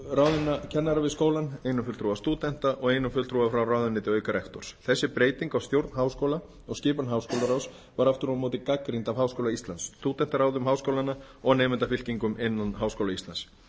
ráðinna kennara við skólann einum fulltrúa stúdenta og einum fulltrúa frá ráðuneyti auk rektors þessi breyting á stjórn háskóla og skipan háskólaráðs var aftur á móti gagnrýnd af háskóla íslands stúdentaráðum háskólanna og nemendafylkingum innan háskóla íslands